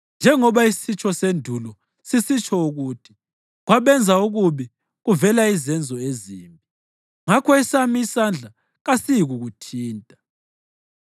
Njengoba isitsho sendulo sisitsho ukuthi, ‘Kwabenza okubi kuvela izenzo ezimbi,’ ngakho esami isandla kasiyikukuthinta.